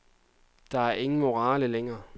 Der er ingen morale længere.